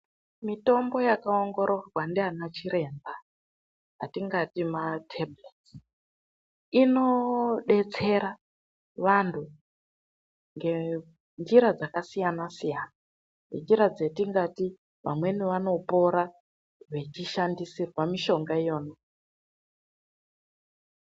MITOMBO YAKAONGORORWA NDIANA CHIREMBA, ATINGATI MAPHIRIZI, INOBETSERA VANTU NGENJIRA DZAKASIYANA-SIYANA. NGENJIRA DZATINGATI VAMWENI VANOPORA VACHISHANDISIRWA MISHONGA IYOYO.